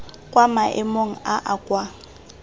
kwa maemong a a kwa